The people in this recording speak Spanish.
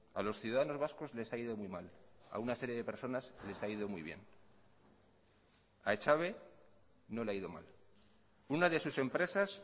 a los ciudadanos vascos les ha ido muy mal a una serie de personas les ha ido muy bien a echave no le ha ido mal una de sus empresas